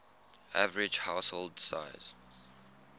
average household size